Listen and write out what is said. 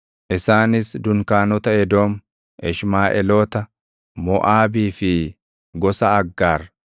isaanis dunkaanota Edoom, Ishmaaʼeeloota, Moʼaabii fi gosa Aggaar,